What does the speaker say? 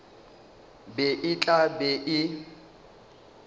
be e tla be e